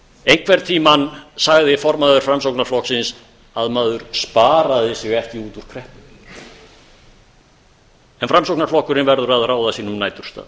einhvern tíma sagði formaður framsóknarflokksins að maður sparaði sig ekki út úr kreppunni en framsóknarflokkurinn verður að ráða sínum næturstað